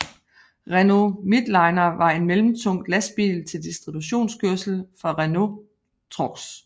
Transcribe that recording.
Renault Midliner var en mellemtung lastbil til distributionskørsel fra Renault Trucks